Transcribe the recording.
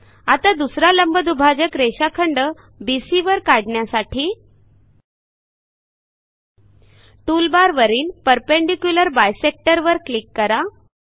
आता दुसरा लंबदुभाजक रेषाखंड बीसी वर काढण्यासाठी टूलबारवरील परपेंडिक्युलर बायसेक्टर वर क्लिक करा